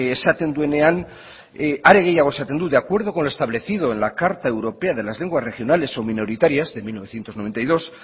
esaten duenean are gehiago esaten dut de acuerdo con lo establecido en la carta europea de las lenguas regionales o minoritarias de mil novecientos noventa y dos